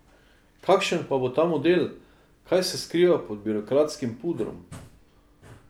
Kakšen pa bo ta model, kaj se skriva pod birokratskim pudrom?